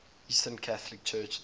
eastern catholic churches